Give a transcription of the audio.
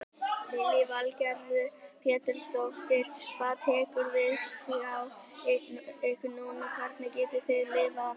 Lillý Valgerður Pétursdóttir: Hvað tekur við hjá ykkur núna, hvernig getið þið lifað af þessu?